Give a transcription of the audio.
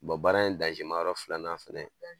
baara in ma yɔrɔ filanan fɛnɛ